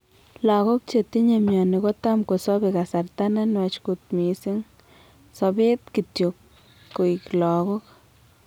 Logok chetinye mioni kotam kosepe kasarta nenuach kot missing sopet kityok koig logok.